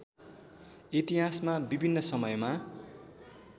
इतिहासमा विभिन्न समयमा